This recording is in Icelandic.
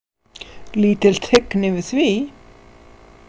Lítil tign yfir því.